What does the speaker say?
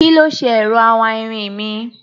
Kí ló ṣe ẹ̀rọ awáirin mi?